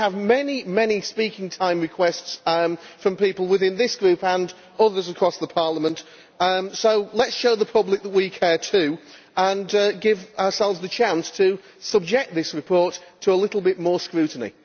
We have many, many speaking time requests from people within this Group and others across Parliament, so let us show the public that we care too, and give ourselves the chance to subject this report to a little bit more scrutiny.